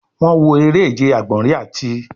Wọn wọ ere-ije agbọnrin ati